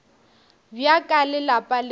bja ka le lapa le